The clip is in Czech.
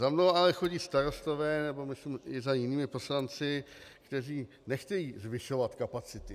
Za mnou ale chodí starostové, nebo myslím i za jinými poslanci, kteří nechtějí zvyšovat kapacity.